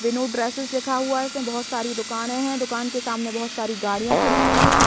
Vinod dresses लिखा हुआ है उसने बहुत सारी दुकाने हैं दुकान के सामने बहुत सारी गाड़ियां खड़ी हुई है।